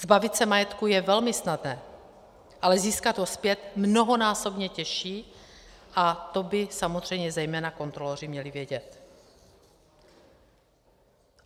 Zbavit se majetku je velmi snadné, ale získat ho zpět mnohonásobně těžší a to by samozřejmě zejména kontroloři měli vědět.